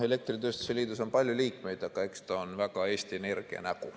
Elektritööstuse liidus on palju liikmeid, aga eks ta on väga Eesti Energia nägu.